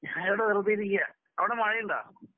ഞാനിവിടെ വെറുതെയിരിക്ക അവിടെ മഴയുണ്ടോ?